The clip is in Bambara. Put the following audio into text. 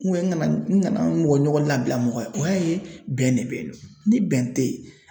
n kana n kana n mɔgɔ ɲɔgɔn labila mɔgɔ ye o y'a ye bɛn de bɛ yen nɔ ni bɛn tɛ ye